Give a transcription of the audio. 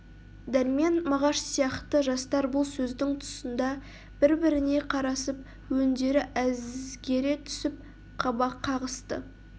дәрмен мағаш сияқты жастар бұл сөздің тұсында бір-біріне қарасып өндері әзгере түсіп қабақ қағысты